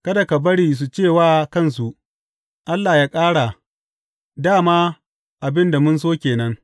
Kada ka bari su ce wa kansu, Allah yă ƙara, dā ma abin da mun so ke nan!